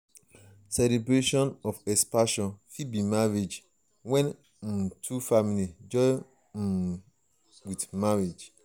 celebration of expansion fit be marriage when um two families join um with marriage